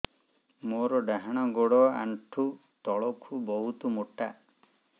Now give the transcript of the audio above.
ମୋର ଡାହାଣ ଗୋଡ ଆଣ୍ଠୁ ତଳୁକୁ ବହୁତ ମୋଟା